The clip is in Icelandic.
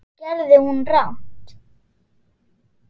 Hvað gerði hún rangt?